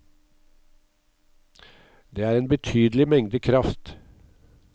Det er en betydelig mengde kraft.